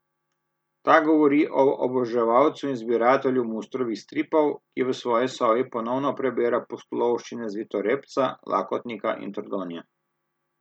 Ta govori o oboževalcu in zbiratelju Mustrovih stripov, ki v svoji sobi ponovno prebira pustolovščine Zvitorepca, Lakotnika in Trdonje.